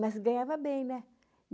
Mas ganhava bem, né?